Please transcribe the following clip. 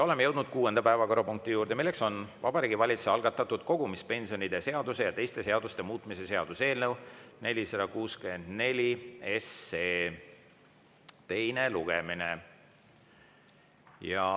Oleme jõudnud kuuenda päevakorrapunkti juurde: Vabariigi Valitsuse algatatud kogumispensionide seaduse ja teiste seaduste muutmise seaduse eelnõu 464 teine lugemine.